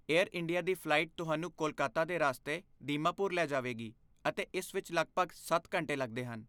air India ਦੀ flight ਤੁਹਾਨੂੰ ਕੋਲਕਾਤਾ ਦੇ ਰਸਤੇ ਦੀਮਾਪੁਰ ਲੈ ਜਾਵੇਗੀ ਅਤੇ ਇਸ ਵਿੱਚ ਲਗਭਗ ਸੱਤ ਘੰਟੇ ਲੱਗਦੇ ਹਨ